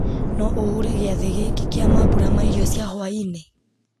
no ũhure gĩathĩ gĩkĩ kĩa mambura ma irio cia hwaĩ-inĩ